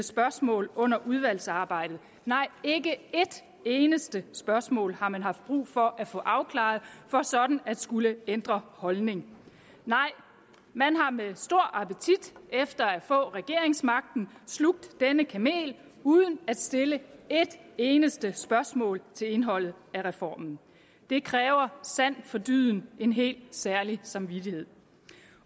spørgsmål under udvalgsarbejdet nej ikke et eneste spørgsmål har man haft brug for at få afklaret for sådan at skulle ændre holdning nej man har med stor appetit efter at få regeringsmagten slugt denne kamel uden at stille et eneste spørgsmål til indholdet af reformen det kræver sandt for dyden en helt særlig samvittighed